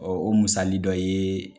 o musali dɔ ye